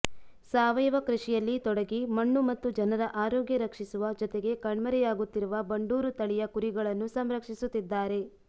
ಸಾವಯವ ಕೃಷಿಯಲ್ಲಿ ತೊಡಗಿ ಮಣ್ಣು ಮತ್ತು ಜನರ ಆರೋಗ್ಯ ರಕ್ಷಿಸುವ ಜತೆಗೆ ಕಣ್ಮರೆಯಾಗುತ್ತಿರುವ ಬಂಡೂರು ತಳಿಯ ಕುರಿಗಳನ್ನು ಸಂರಕ್ಷಿಸುತ್ತಿದ್ದಾರೆ